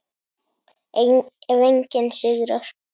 Ef enginn sigrar.